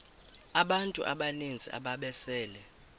abantu abaninzi ababesele